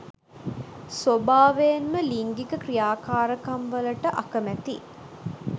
ස්වභාවයෙන්ම ලිංගික ක්‍රියාකාරකම් වලට අකමැති